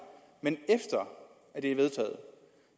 men efter at det er vedtaget